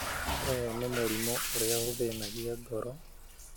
Ũyũ nĩ mũrimũ ũrĩa ũthĩnagia ngoro